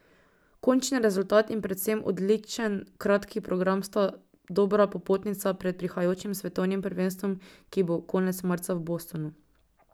Končni rezultat in predvsem odličen kratki program sta dobra popotnica pred prihajajočim svetovnim prvenstvom, ki bo konec marca v Bostonu.